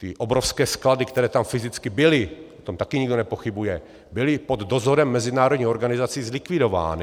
Ty obrovské sklady, které tam fyzicky byly, o tom taky nikdo nepochybuje, byly pod dozorem mezinárodních organizací zlikvidovány.